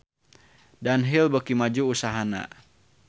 Dunhill beuki maju usahana